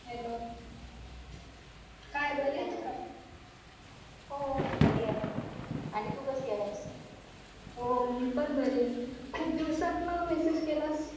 hello हो बरीं आहे आणि तू कशी आहे